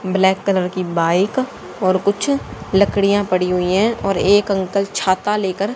black colour की bike और कुछ लकड़ियां पड़ी हुई हैं और एक अंकल छाता लेकर--